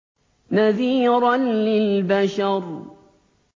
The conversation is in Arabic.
نَذِيرًا لِّلْبَشَرِ